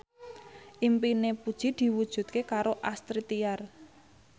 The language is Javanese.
impine Puji diwujudke karo Astrid Tiar